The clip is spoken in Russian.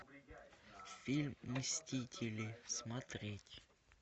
фильм мстители смотреть